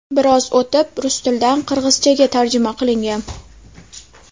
Biroz o‘tib, rus tilidan qirg‘izchaga tarjima qilingan.